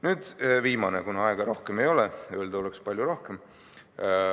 Nüüd viimane, kuna aega rohkem ei ole, öelda oleks palju rohkem.